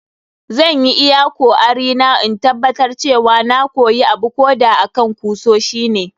Zan yi iyakoarina in tabbatar cewa na koya abuko da akan kusoshi ne.